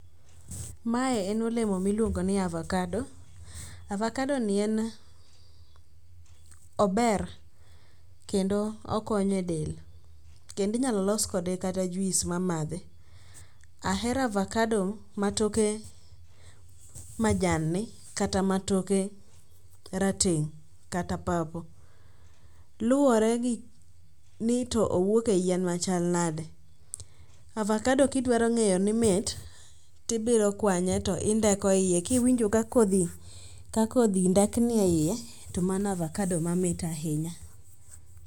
Mae en olemo miluongo ni avakado. Avakado ni en ober kendo okonyo e del kendo inyalo los kode kata juis mamadhi. Ahero avakado ma toke majanni kata matoke rateng' kata purple. Luwore ni to owuok e yien machal nadi. Avakado kidwarong'iyo ni mit, tibiro kwanye to indeko iye kiwinjo ka kodhi ndekni e iye to mano avakado mamit ahinya.